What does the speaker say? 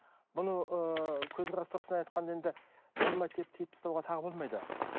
бұны ыыы көзқарас тұрғысынан айтқанда енді болмайды деп тиіп тастауға тағы болмайды